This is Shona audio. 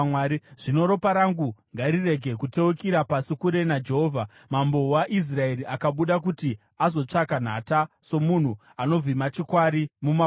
Zvino ropa rangu ngarirege kuteukira pasi kure naJehovha. Mambo waIsraeri akabuda kuti azotsvaka nhata, somunhu anovhima chikwari mumakomo.”